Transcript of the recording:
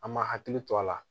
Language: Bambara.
An ma hakili to a la